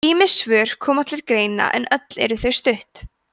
ýmis svör koma til greina en öll eru þau stutt